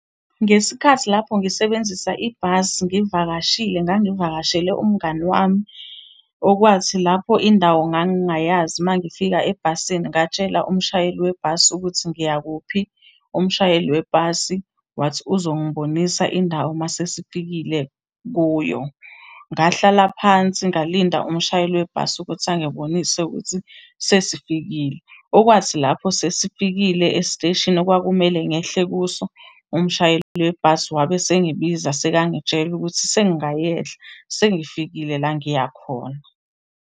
Ngesikhathi lapho ngisebenzisa ibhasi ngivakashile, ngangivakashele umngani wami. Okwathi lapho indawo ngangingayazi, uma ngifika ebhasini ngatshela umshayeli webhasi ukuthi ngiya kuphi, umshayeli webhasi wathi uzongibonisa indawo uma sesifikile kuyo. Ngahlala phansi ngalinda umshayeli webhasi ukuthi angibonise ukuthi sesifikile. Okwathi lapho sesifikile esiteshini okwakumele ngehle kuso, umshayeli webhasi wabe esengibiza sekangitshela ukuthi sengingayehla sengifikile la engiyakhona.